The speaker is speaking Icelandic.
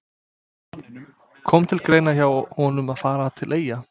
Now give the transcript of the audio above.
Hver sé þá sjálfstæður samningsréttur aðildarfélaga stefnanda?